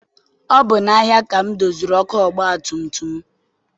Ọ bụ n'ahia ka m doziri ọkụ ọgbatumtum m.